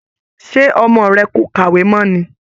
Ṣe ọmọ rẹ kò kàwé mọ́ ni?